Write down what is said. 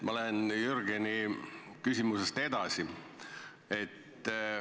Ma lähen Jürgeni küsimusest edasi.